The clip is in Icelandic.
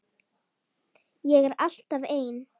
Ég er alltaf ein.